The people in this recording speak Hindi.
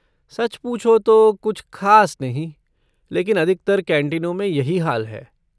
सच पूछो तो कुछ ख़ास नहीं लेकिन अधिकतर कैंटीनों में यही हाल है।